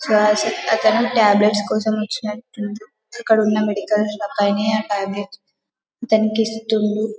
Sirs అతను tablets కోసం వాచినట్టు ఉండు ఇక్కడ ఉన్న మెడికల్ షాప్ ఆయనే అతనికి ఇస్తుండు .